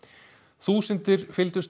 þúsundir fylgdust